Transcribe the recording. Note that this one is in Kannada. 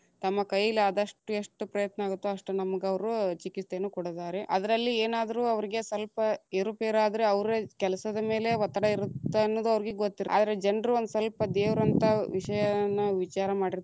ತಮ್ಮ ಕೈಲಾದಷ್ಟು ಎಷ್ಟು ಪ್ರಯತ್ನ ಆಗತ್ತೊ ಅಷ್ಟ. ನಮಗ ಅವ್ರು ಚಿಕಿತ್ಸೆಯನ್ನು ಕೊಡತಾರೆ, ಅದರಲ್ಲಿ ಏನಾದ್ರು ಅವರಿಗೆ ಸ್ವಲ್ಪ ಏರು ಪೇರಾದ್ರು ಅವ್ರೆ ಕೆಲಸದ ಮೇಲೆ ಒತ್ತಡ ಇರುತ್ತನ್ನುದು ಅವರಿಗೆ ಗೊತ್ತ ಇರತ್ತ, ಆದ್ರ ಜನ್ರೂ ಒಂದ ಸ್ವಲ್ಪ ದೇವ್ರ ಅಂತ, ಆ ವಿಷಯವನ್ನ ವಿಚಾರ ಮಾಡಿತಾ೯ರಲ್ಲಾ.